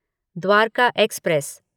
Dwarka express